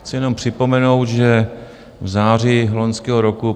Chci jenom připomenout, že v září loňského roku